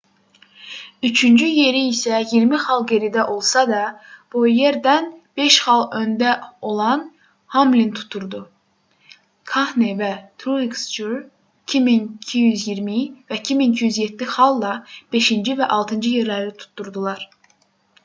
üçüncü yeri isə 20 xal geridə olsa da bouyerdən 5 xal öndə olan hamlin tuturdu kahne və truex jr 2220 və 2207 xalla 5-ci və 6-cı yerləri tuturdular